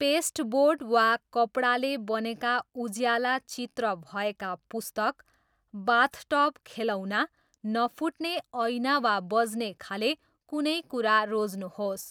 Pasteboard वा कपडाले बनेका उज्याला चित्र भएका पुस्तक, बाथटब खेलौना, नफुट्ने ऐना वा बज्नेखाले कुनै कुरा रोज्नुहोस्।